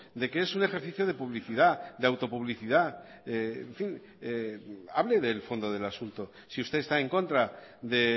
de que es un ejercicio de publicidad de autopublicidad en fin hable del fondo del asunto si usted está en contra de